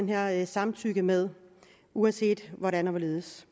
her samtykke med uanset hvordan og hvorledes